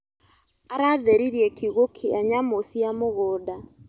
Aratheririe kiugũ kia nyamũ cia mũgũnda.